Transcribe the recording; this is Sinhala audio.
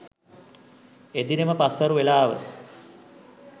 එදිනම පස්වරු වේලාව